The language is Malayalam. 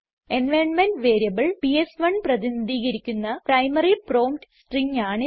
എൻവൈറൻമെന്റ് വേരിയബിൾ പിഎസ്1 പ്രതിനിധീകരിക്കുന്ന പ്രൈമറി പ്രോംപ്റ്റ് സ്ട്രിംഗ് ആണിത്